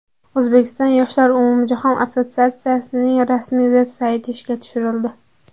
O‘zbekiston yoshlari umumjahon assotsiatsiyasining rasmiy veb-sayti ishga tushirildi .